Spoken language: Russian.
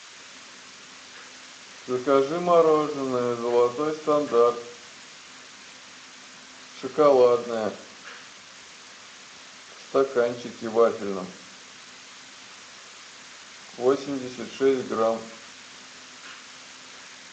закажи мороженое золотой стандарт шоколадное в стаканчике вафельном восемьдесят шесть грамм